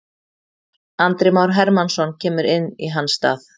Andri Már Hermannsson kemur inn í hans stað.